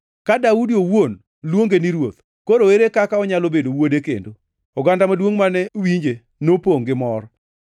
Ka Daudi owuon luonge ni ‘Ruoth.’ Koro ere kaka onyalo bedo wuode kendo?” Oganda maduongʼ mane winje nopongʼ gi mor.